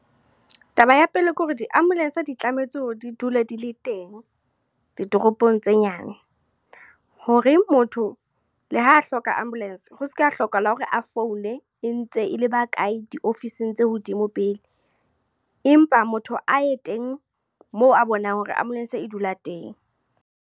Taba ya pele, ke hore di ambulance di tlametse ho di dule di le teng, ditoropong tse nyane. Hore motho le ha hloka ambulance, ho seka ha hlokahala hore a founela, e ntse e leba kae diofising tse hodimo pele. Empa motho a ye teng, moo a bonang hore ambulance e dula teng.